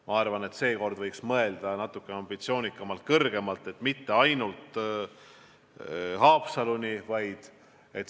Ma arvan, et seekord võiks mõelda natukene ambitsioonikamalt, mitte rajada raudtee ainult Haapsaluni, vaid Rohukülani välja.